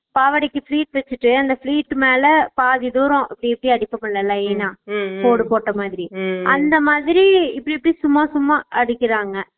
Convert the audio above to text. பாவடைக்கு fleats தேச்சிட்டு அந்த fleats மேல பாத்தி தூரம் இப்பிடி அப்டி அடிச்சிக்கணும் நல்லா line னா கோடு போட்ட மாதிரி அந்த மாதிரி இப்டி இப்டி சும்மா சும்மா அடிக்கிறாங்க